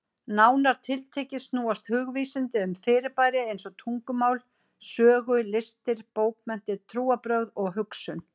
Nánar tiltekið snúast hugvísindi um fyrirbæri eins og tungumál, sögu, listir, bókmenntir, trúarbrögð og hugsun.